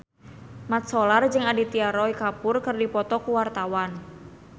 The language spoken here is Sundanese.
Mat Solar jeung Aditya Roy Kapoor keur dipoto ku wartawan